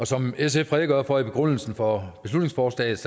som sf redegør for i begrundelsen for beslutningsforslaget